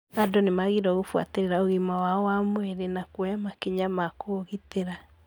Andũ nĩ magĩrĩirũo kũbũatĩrĩria ũgima wao wa mwĩrĩ na kuoya makinya ma kũũgitĩra.